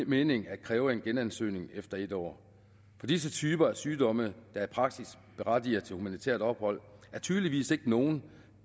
mening at kræve en genansøgning efter en år for disse typer af sygdomme der i praksis berettiger til humanitært ophold er tydeligvis ikke nogle